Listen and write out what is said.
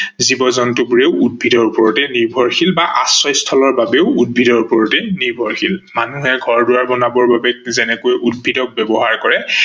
জীৱ-জন্তু বোৰো উদ্ভিদৰ ওপৰতে নিৰ্ভৰশীল বা আশ্ৰয়স্থলৰ বাবেও উদ্ভিদৰ ওপৰতে নিৰ্ভৰশীল। মানুহে ঘৰ-দোৱাৰ বনাবৰ বাবে যেনেকৈ উদ্ভিদক ব্যৱহাৰ কৰে